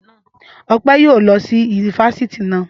Ọpẹ́ yóò lọ sí ifásitì naa